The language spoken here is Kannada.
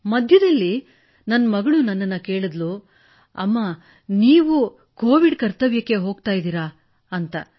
ಮಧ್ಯದಲ್ಲಿ ನನ್ನ ಮಗಳು ನನ್ನನ್ನು ಕೇಳಿದಳು ಅಮ್ಮಾ ನೀವು ಕೋವಿಡ್ ಕರ್ತವ್ಯಕ್ಕೆ ಹೋಗುತ್ತಿದ್ದೀರಾ ಎಂದು